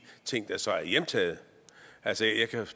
ting der så er hjemtaget altså jeg kan